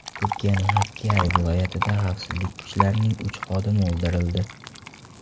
Turkiyaning Hakkyari viloyatida xavfsizlik kuchlarining uch xodimi o‘ldirildi.